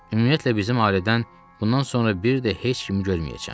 Ümumiyyətlə bizim ailədən bundan sonra bir də heç kimi görməyəcəm.